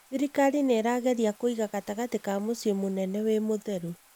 Thirikari nĩirageria kũiga gatagati ka mũciĩ mũnene wĩ mũtheru